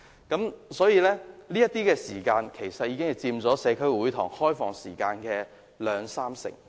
然而，這些時間卻佔了社區會堂開放時間約兩至三成。